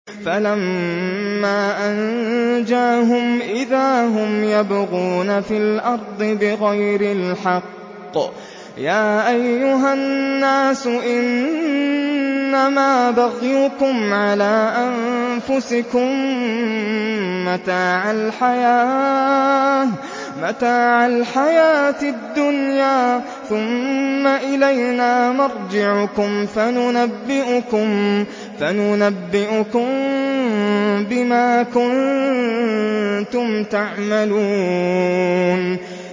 فَلَمَّا أَنجَاهُمْ إِذَا هُمْ يَبْغُونَ فِي الْأَرْضِ بِغَيْرِ الْحَقِّ ۗ يَا أَيُّهَا النَّاسُ إِنَّمَا بَغْيُكُمْ عَلَىٰ أَنفُسِكُم ۖ مَّتَاعَ الْحَيَاةِ الدُّنْيَا ۖ ثُمَّ إِلَيْنَا مَرْجِعُكُمْ فَنُنَبِّئُكُم بِمَا كُنتُمْ تَعْمَلُونَ